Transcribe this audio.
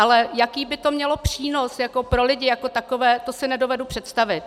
Ale jaký by to mělo přínos pro lidi jako takové, to si nedovedu představit.